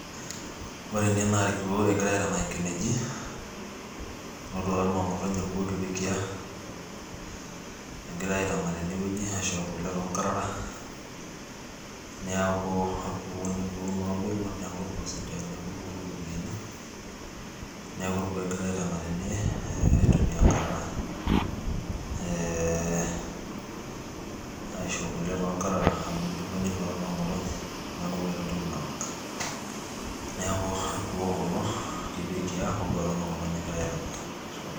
ore ene naa irkuoo egirae aitanak inkineji, enotito noo ng'otonye irkuoo kipekiaa, egirae aitanak tene wueji aisho kule too nkarara neeku orkuoo oobulu neeku irkuoo sidai, neeku irkuoo ootumieki iropiyiani. neeku irkuoo egirae aitanak tene aitumia inkarara eee, aisho kule too nkarara. amu idimayu netuata noo ng'otonye neeku metii entoki nanak. neeku irkuoo kulo ootuata noo ng'otonye egirae aaitanak.